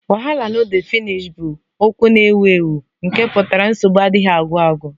Wahala no dey finish 'bụ okwu na-ewu ewu nke pụtara nsogbu adịghị agwụ agwụ